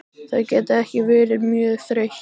Þau geta ekki verið mjög þreytt.